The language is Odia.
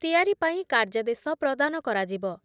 ତିଆରି ପାଇଁ କାର୍ଯ୍ୟାଦେଶ ପ୍ରଦାନ କରାଯିବ